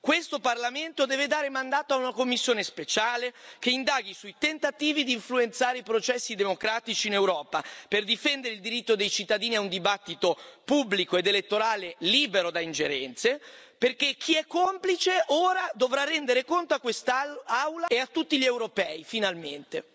Questo Parlamento deve dare mandato a una commissione speciale che indaghi sui tentativi di influenzare i processi democratici in Europa per difendere il diritto dei cittadini a un dibattito pubblico ed elettorale libero da ingerenze, perché chi è complice ora dovrà rendere conto a quest'Aula e a tutti gli europei, finalmente!